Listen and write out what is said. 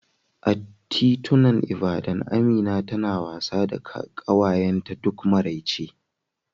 A titunan Ibadan, Amina tana wasa da ƙawayenta duk maraice